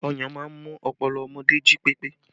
Ọyàn máa ń mú ọpọlọ ọmọdé jí pépé